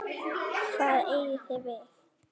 Hvað eigið þið við?